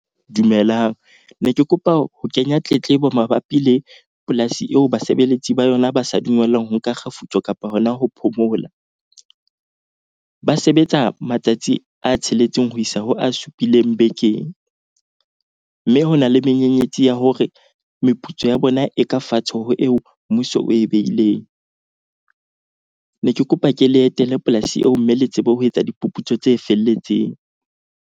Dumelang, ne ke kopa ho kenya tletlebo mabapi le polasi eo basebeletsi ba yona ba sa dungellwang ho nka kgefutso kapa hona ho phomola. Ba sebetsa matsatsi a tsheletseng ho isa ho a supileng bekeng. Mme ho na le menyenyetsi ya hore meputso ya bona e ka fatshe ho eo mmuso o e beileng. Ne ke kopa ke le etele polasi eo mme le tsebe ho etsa diphuputso tse felletseng.